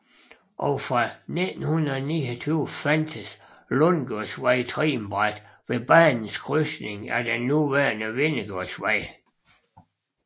Og fra 1929 fandtes Lundsgårdsvej trinbræt ved banens krydsning af den nuværende Vindegårdsvej